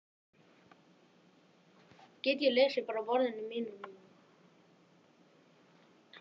Hreppsnefndarmenn vildu aldrei taka neitt mál til ákvörðunar nema bera undir hann áður.